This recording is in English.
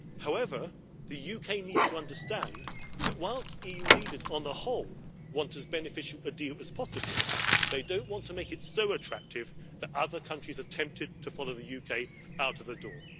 However, the UK needs to understand that whilst EU leaders on the whole want as beneficial a deal as possible, they do not want to make it so attractive that other countries are tempted to follow the UK out of the door.